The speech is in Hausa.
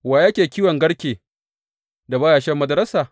Wa yake kiwon garke, da ba ya sha madararsa?